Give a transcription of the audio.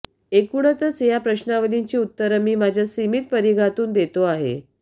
एकुणातच ह्या प्रश्नावलीची उत्तरं मी माझ्या सीमित परिघातून देतो आहे